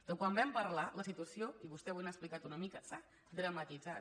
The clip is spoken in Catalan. de quan vam parlar la situació i vostè avui n’ha explicat una mica s’ha dramatitzat